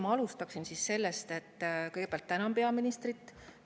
Ma alustaksin võib-olla sellest, et kõigepealt tänan peaministrit.